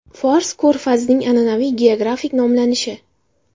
Fors ko‘rfazning an’anaviy geografik nomlanishi.